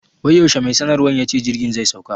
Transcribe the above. Wai yaushe mai sanarwan yace jirgin zai sauka?